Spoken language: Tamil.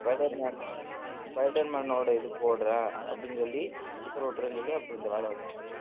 spider man spider man ஓட இது போடறேன் அப்படின்னு சொல்லி sticker ஒட்டறேன்னு சொல்லி அப்ப இந்த வேலை வந்துச்சு